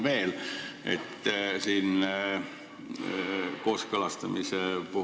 Hea ettekandja!